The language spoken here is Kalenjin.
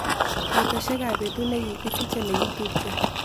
Kaitosiekap betut nigigisiche negitupche